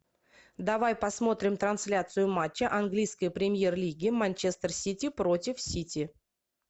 давай посмотрим трансляцию матча английской премьер лиги манчестер сити против сити